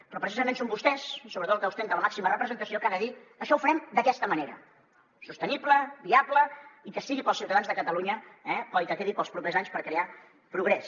però precisament són vostès i sobretot el que ostenta la màxima representació que ha de dir això ho farem d’aquesta manera sostenible viable i que sigui per als ciutadans de catalunya eh i que quedi per als propers anys per crear progrés